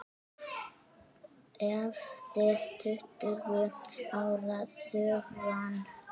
Eftir tuttugu ára þögn